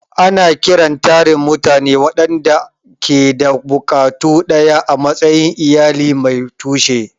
Ana kiran tarin mutane waɗanda ke da buƙatu ɗaya a matsayin "iyali mai tushe."